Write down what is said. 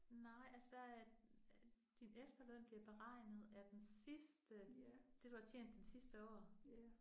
Nej altså der er din efterløn bliver beregnet af den sidste det du har tjent den sidste år